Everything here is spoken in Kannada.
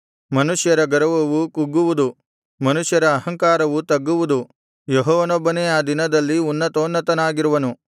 ಮನುಷ್ಯರ ಗರ್ವವು ಕುಗ್ಗುವುದು ಮನುಷ್ಯರ ಅಹಂಕಾರವು ತಗ್ಗುವುದು ಯೆಹೋವನೊಬ್ಬನೇ ಆ ದಿನದಲ್ಲಿ ಉನ್ನತೋನ್ನತನಾಗಿರುವನು